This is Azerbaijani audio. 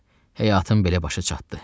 Heyf, həyatım belə başa çatdı,